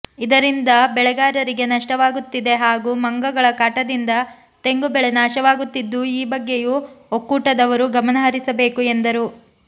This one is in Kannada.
ಇದರಿಂದ ಬೆಳೆಗಾರರಿಗೆ ನಷ್ಟವಾಗುತ್ತಿದೆ ಹಾಗೂ ಮಂಗಗಳ ಕಾಟದಿಂದ ತೆಂಗು ಬೆಳೆ ನಾಶವಾಗುತ್ತಿದ್ದು ಈ ಬಗ್ಗೆಯೂ ಒಕ್ಕೂಟದವರು ಗಮನಹರಿಸಬೇಕು ಎಂದರು